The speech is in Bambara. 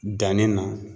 Danni na